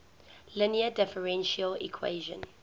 linear differential equation